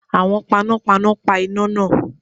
Àwọn panápaná pa iná náà.